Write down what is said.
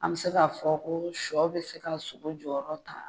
An mi se k'a fɔ ko sɔ bɛ se k'a sogo jɔyɔrɔ ta